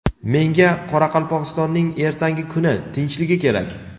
Menga Qoraqalpogʼistonning ertangi kuni, tinchligi kerak.